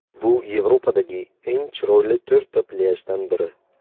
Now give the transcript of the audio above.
Bu Yevropadagi eng chiroyli to‘rtta plyajdan biri.